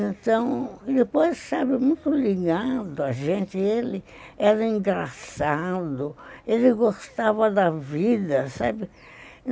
Então, depois, sabe, muito ligando a gente, ele era engraçado, ele gostava da vida, sabe?